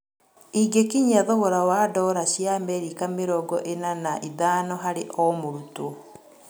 Ingĩkinyia thogora wa ndora cia Amerika mĩrongo-ĩna na ithano harĩ o-mũrutwo